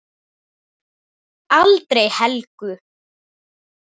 Aldrei Helgu.